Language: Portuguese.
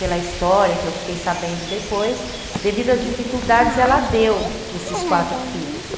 Pela história que eu fiquei sabendo depois, devido às dificuldades, ela deu esses quatro filhos.